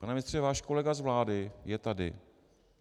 Pane ministře, váš kolega z vlády je tady.